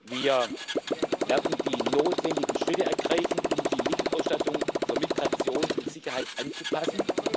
Wir werden die notwendigen Schritte ergreifen, um die Mittelausstattung für Migration und Sicherheit anzupassen.